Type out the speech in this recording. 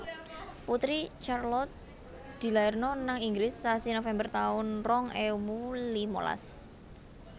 Putri Charlotte dilairno nang Inggris sasi November taun rong ewu limalas